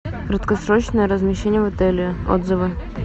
краткосрочное размещение в отеле отзывы